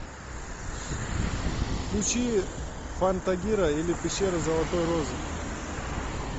включи фантагиро или пещера золотой розы